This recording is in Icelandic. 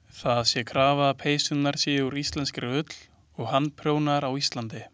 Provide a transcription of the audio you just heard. Það sé krafa að peysurnar séu úr íslenskri ull og handprjónaðar á Íslandi.